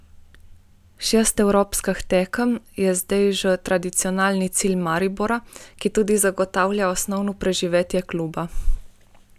Šest evropskih tekem je zdaj že tradicionalni cilj Maribora, ki tudi zagotavlja osnovno preživetje kluba.